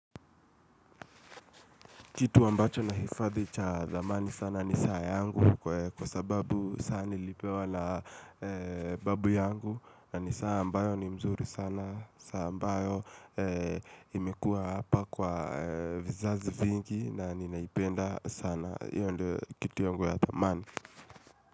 Kitu ambacho nahifadhi cha dhamani sana ni saa yangu kwa sababu saa nilipewa na babu yangu. Na ni saa ambayo ni mzuri sana, saa ambayo imekuwa hapa kwa vizazi vingi na ninaipenda sana. Hiyo ndio kitu yangu ya dhamani.